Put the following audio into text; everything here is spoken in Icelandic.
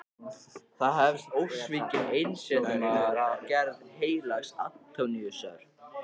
Þar hefst við ósvikinn einsetumaður af gerð heilags Antóníusar.